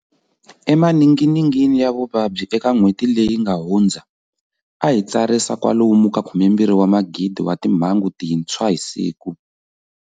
Emaninginingini ya vuvabyi eka n'hweti leyi nga hu ndza, a hi tsarisa kwalomu ka 12,000 wa timhangu tintshwa hi siku.